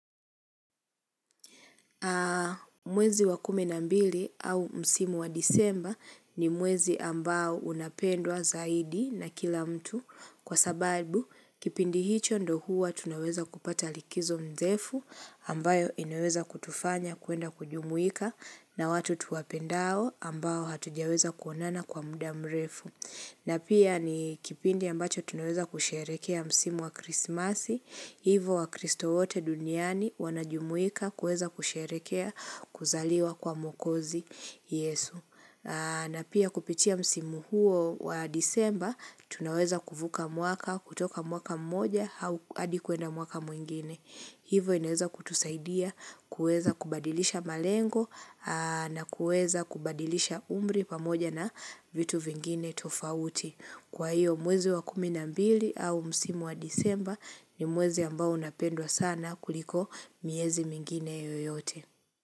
Mwezi wa kumi na mbili au msimu wa disemba ni mwezi ambao unapendwa zaidi na kila mtu kwa sababu kipindi hicho ndo huwa tunaweza kupata likizo ndefu ambayo inayoweza kutufanya kuenda kujumuika na watu tuwapendao ambao hatujaweza kuonana kwa muda mrefu. Na pia ni kipindi ambacho tunaweza kusherehekea msimu wa krismasi, hivo wakristo wote duniani wanajumuika kuweza kusherekea kuzaliwa kwa mwokozi yesu. Na pia kupitia msimu huo wa disemba, tunaweza kuvuka mwaka, kutoka mwaka mmoja hadi kwenda mwaka mwingine. Hivo inaweza kutusaidia kueza kubadilisha malengo na kueza kubadilisha umri pamoja na vitu vingine tofauti. Kwa hiyo mwezi wa kumi na mbili au msimu wa disemba ni mwezi ambao unapendwa sana kuliko miezi mingine yoyote.